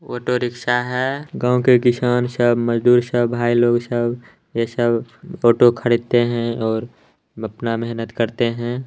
Auto rickshaw है। गांव के किसान सब मजदूर सब भाई लोग सब ये सब ऑटो खरीदते है और अपना मेहनत करते हैं।